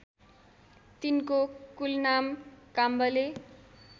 तिनको कुलनाम काम्बले